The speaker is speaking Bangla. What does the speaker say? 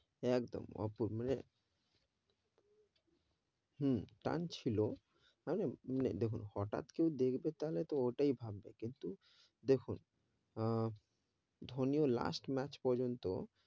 একদম, অপূর্ব মানে, হম, টানছিলো, দেখুন হটাত কেউ দেখবে তো ওটাই ভাববে কিন্তু, দেখুন আহ ধোনি ও last match পর্যন্ত,